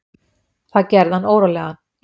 Það gerði hann órólegan.